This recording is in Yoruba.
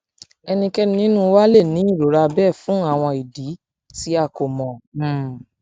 ẹnikẹni ninu wa le ni irora bẹ fun awọn idi ti a idi ti a ko mọ um